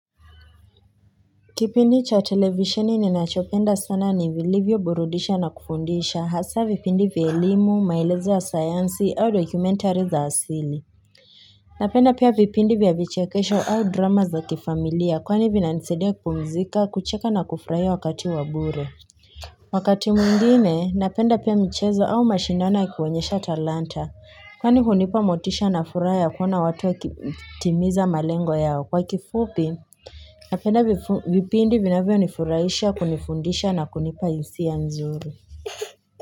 Kipindi cha televisheni ninachopenda sana, ni vilivyoburudisha na kufundisha hasa vipindi vya elimu, maelezo ya sayansi au dokumentari za asili. Napenda pia vipindi vya vichekesho au drama za kifamilia kwani vinanisadia kupumzika, kucheka na kufurahia wakati wa bure. Wakati mwingine, napenda pia michezo au mashindano ya kuonyesha talanta kwani hunipa motisha na furaha ya kuona watu wakitimiza malengo yao. Kwa kifupi. Napenda vipindi vinavyonifurahisha, kunifundisha na kunipa hisia nzuri.